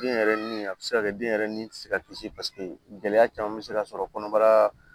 Den yɛrɛ ni a bɛ se ka kɛ den yɛrɛ ni se ka kisi paseke gɛlɛya caman bɛ se ka sɔrɔ kɔnɔbara